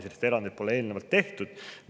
Sellist erandit pole eelnevalt tehtud.